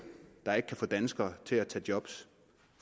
der ikke kan få danskere til at tage job